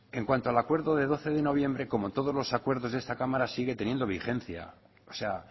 en cuanto el acuerdo del doce de noviembre como todos los acuerdos de esta cámara sigue teniendo vigencia o sea